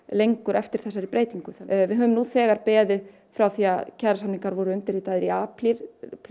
lengur eftir þessari breytingu við höfum nú þegar beðið frá því kjarasamningar voru undirritaðir í apríl